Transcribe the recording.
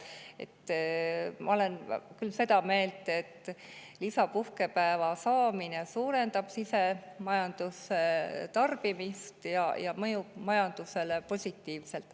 Ma olen küll seda meelt, et lisapuhkepäeva saamine suurendab sisemajanduslikku tarbimist ja see mõjub majandusele positiivselt.